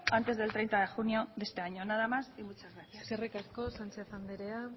antes del treinta de junio de este año nada más y muchas gracias eskerrik asko sánchez anderea